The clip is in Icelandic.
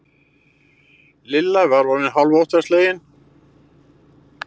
Lilla var orðin hálf óttaslegin.